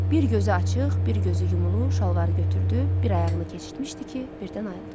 Bir gözü açıq, bir gözü yumulu şalvarı götürdü, bir ayağını keçirtmişdi ki, birdən ayıldı.